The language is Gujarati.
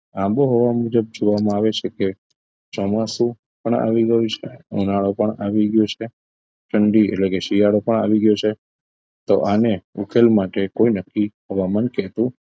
આબોહવા મુજબ જોવામાં આવે છે કે ચોમાસુ પણ આવી ગયું છે ઉનાળો પણ આવી ગયો છે ઠંડી એટલે કે શિયાળો પણ આવી ગયો છે તો આને ઉકેલ માટે કોઈ નક્કી હવામાન કહેતું